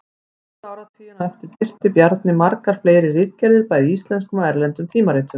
Næstu áratugina á eftir birti Bjarni margar fleiri ritgerðir bæði í íslenskum og erlendum tímaritum.